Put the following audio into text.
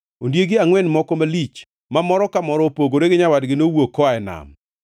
Ondiegi angʼwen moko malich, ma moro ka moro opogore gi nyawadgi, nowuok koa e nam.